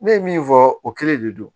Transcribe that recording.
Ne ye min fɔ o kelen de don